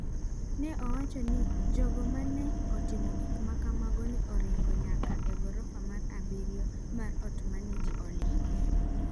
Ne owach ni jogo ma ne otimo gik ma kamago ne oringo nyaka e gorofa mar abiro mar ot ma ne ji oling’e.